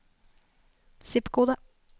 zip-kode